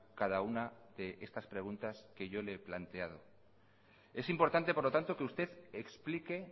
cada una de estas preguntas que yo le he planteado es importante por lo tanto que usted explique